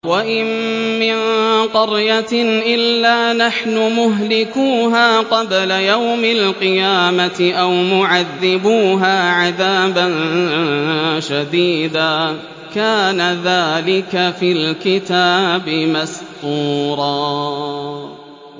وَإِن مِّن قَرْيَةٍ إِلَّا نَحْنُ مُهْلِكُوهَا قَبْلَ يَوْمِ الْقِيَامَةِ أَوْ مُعَذِّبُوهَا عَذَابًا شَدِيدًا ۚ كَانَ ذَٰلِكَ فِي الْكِتَابِ مَسْطُورًا